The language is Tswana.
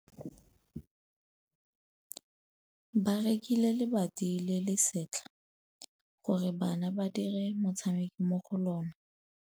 Ba rekile lebati le le setlha gore bana ba dire motshameko mo go lona.